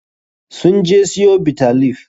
Sun je siyo Bitter leaf.